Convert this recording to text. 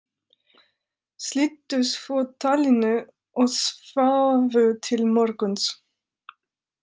Slitu svo talinu og sváfu til morguns.